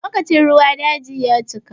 Lokacin ruwa daji ya cika.